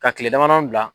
Ka kile damadɔ bila